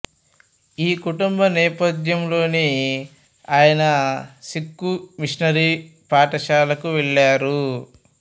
ఈ కుటుంబ నేపథ్యంలోని ఆయన సిక్ఖు మిషనరీ పాఠశాలకు వెళ్ళారు